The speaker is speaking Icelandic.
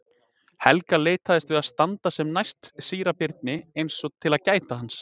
Helga leitaðist við að standa sem næst síra Birni eins og til að gæta hans.